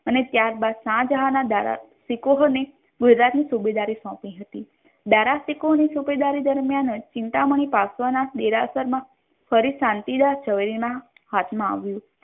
અને ત્યાર બાદ શાહજહાન ના દારા તીકોઝો ની ગુજરાત ની સુબેદારી સોંપી હતી દારા સિકુટ ની સુબેદારી દરમ્યાન અજ ચિંતામણી પાર્શ્વનાથ દેરાસર ફરી શાંતિદાસ ઝવેરી ના હાથ મા આવ્યુ.